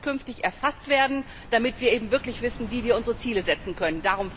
All das muss künftig erfasst werden, damit wir wirklich wissen, wie wir unsere Ziele festlegen können.